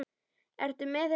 Ertu með þessum strák?